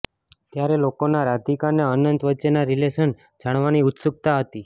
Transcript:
ત્યારે લોકોનાં રાધિકા અને અનંત વચ્ચેના રિલેશન જાણવાની ઉત્સુકતા હતી